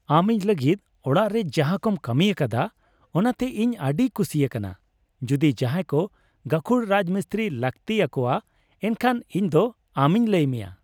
ᱟᱢ ᱤᱧ ᱞᱟᱹᱜᱤᱫ ᱚᱲᱟᱜ ᱨᱮ ᱡᱟᱦᱟᱸᱠᱚᱢ ᱠᱟᱹᱢᱤ ᱟᱠᱟᱫᱟ, ᱚᱱᱟᱛᱮ ᱤᱧ ᱟᱹᱰᱤᱧ ᱠᱩᱥᱤ ᱟᱠᱟᱱᱟ ᱾ ᱡᱩᱫᱤ ᱡᱟᱦᱟᱸᱭ ᱠᱚ ᱜᱟᱹᱠᱷᱩᱲ ᱨᱟᱡᱢᱤᱥᱛᱨᱤ ᱞᱟᱹᱠᱛᱤ ᱟᱠᱚᱣᱟ, ᱮᱱᱠᱷᱟᱱ ᱤᱧᱫᱚ ᱟᱢᱤᱧ ᱞᱟᱹᱭ ᱢᱮᱭᱟ ᱾